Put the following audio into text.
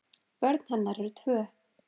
Börn hennar eru tvö.